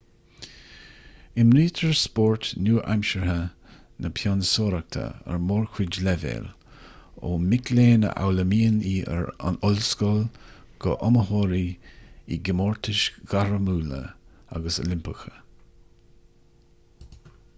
imrítear spórt nua-aimseartha na pionsóireachta ar mórchuid leibhéal ó mic léinn a fhoghlaimíonn í ar an ollscoil go hiomaitheoirí i gcomórtais ghairmiúla agus oilimpeacha